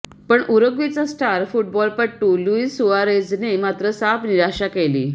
पण उरुग्वेचा स्टार फुटबॉलपटू लुईस सुआरेझने मात्र साफ निराशा केली